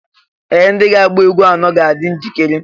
Ee! ndị na-agba egwú anọ ga-adị njikere